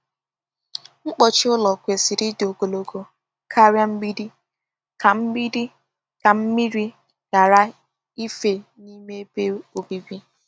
Mkpuchi ụlọ kwesịrị ịdị ogologo karịa mgbidi ka mgbidi ka mmiri ghara ife n'ime ebe obibi.